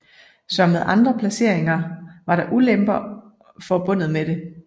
Som med andre placeringer var der ulemper forbundet med det